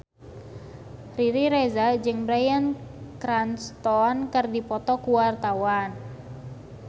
Riri Reza jeung Bryan Cranston keur dipoto ku wartawan